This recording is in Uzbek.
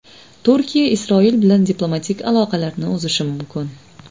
Turkiya Isroil bilan diplomatik aloqalarni uzishi mumkin.